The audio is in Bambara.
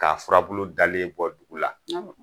Ka furabulu dalen bɔ dugu la